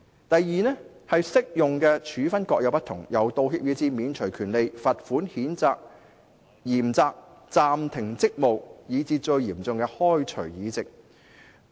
"第二，適用的處分各有不同，由道歉以至免除權利，罰款、嚴責、譴責、暫停職務"，以至最嚴重的開除議席。